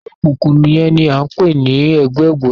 Ẹgbẹ okunkun yẹn ni a ń pè ní ẹgbẹ ògbóni